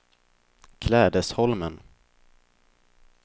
Klädesholmen